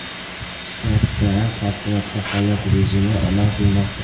Shtatda favqulodda holat rejimi amal qilmoqda.